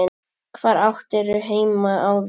Hvar áttirðu heima áður?